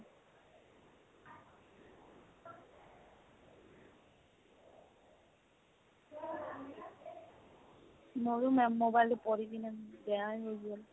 মোৰো মে‍‍‍‍‍ mobile টো পৰি কেনে বেয়ায়ে হৈ গ'ল।